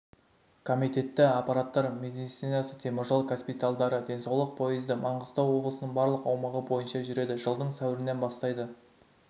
комитеті апаттар медицинасы теміржол госпитальдары денсаулық поезды маңғыстау облысының барлық аумағы бойынша жүреді жылдың сәуірінен бастайды